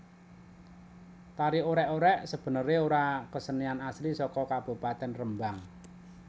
Tari Orèk orèk sebenerè ora kesenian asli saka Kabupatèn Rembang